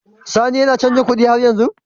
Sani yAna canji kuɗi har yanzu?